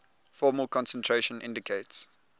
formal concentration indicates